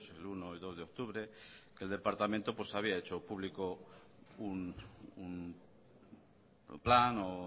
el uno y el dos de octubre que el departamento había hecho público un plan